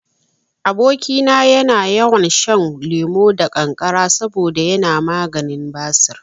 Aboki na yana yawan shan lemo da kankara saboda yana maganin basir